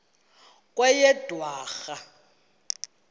kweyedwarha